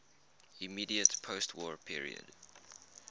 immediate postwar period